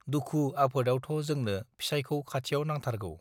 दुखु आफोदयावथ जोंनो फिसाइकौ खाथियाव नांथारगो